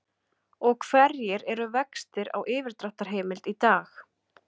Og hverjir eru vextir á yfirdráttarheimild í dag?